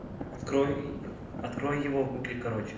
открой открой его в гугле короче